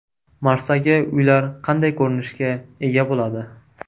Marsdagi uylar qanday ko‘rinishga ega bo‘ladi?